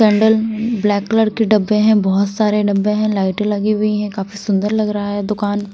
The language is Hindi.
कैंडल ब्लैक कलर के डब्बे हैं बहुत सारे डब्बे हैं लाइटें लगी हुई हैं काफी सुंदर लग रहा है दुकान।